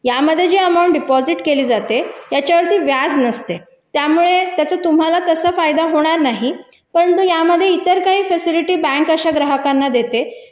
यामध्ये जी amount deposit केले जाते त्याच्यावरती व्याज नसते त्यामुळे तुम्हाला त्याचा फायदा होणार नाही